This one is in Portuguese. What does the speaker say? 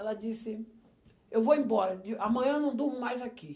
Ela disse, eu vou embora, amanhã eu não durmo mais aqui.